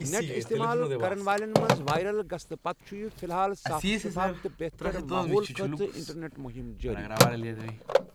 Net استعمال کَرن والٮ۪ن منٛز وائرل گژھنہٕ پتہٕ چھُ یہِ فی الحال صاف شِفاف تہٕ بہتر ماحول خٲطرٕ انٹرنیٹ مہم جٲری۔